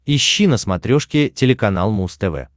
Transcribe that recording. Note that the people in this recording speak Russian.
ищи на смотрешке телеканал муз тв